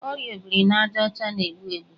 Ọrịa obirinajaọcha na-egbu egbu